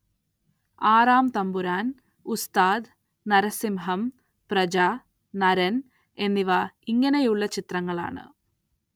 ആറാം തമ്പുരാൻ, ഉസ്താദ്, നരസിംഹം, പ്രജ, നരൻ എന്നിവ ഇങ്ങനെയുള്ള ചിത്രങ്ങളാണ്.